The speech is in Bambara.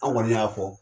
An kɔni y'a fɔ